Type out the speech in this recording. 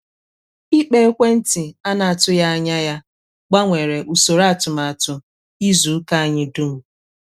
ikpo ekwentị a na-atụghị anya ya gbanwere usoro atụmatụ izu ụka anyị dum.